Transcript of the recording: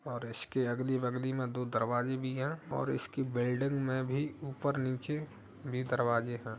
और इसकी अगली बगली में दो दरवाजे भी है और इसकी बिल्डिंग में भी ऊपर नीचे भी दरवाजे हैं।